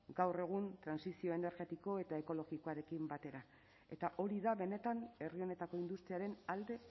gaur egun trantsizio energetiko eta ekologikoarekin batera eta hori da benetan herri honetako industriaren alde